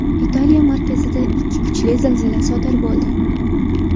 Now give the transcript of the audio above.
Italiya markazida ikki kuchli zilzila sodir bo‘ldi.